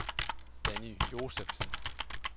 Danny Josefsen